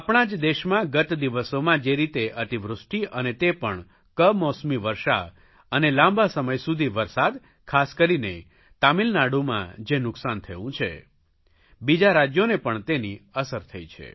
આપણા જ દેશમાં ગત દિવસોમાં જે રીતે અતિવૃષ્ટિ અને તે પણ કમોસમી વર્ષા અને લાંબા સમય સુધી વરસાદ ખાસ કરીને તમિલનાડુમાં જે નુકસાન થયું છે બીજા રાજયોને પણ તેની અસર થઇ છે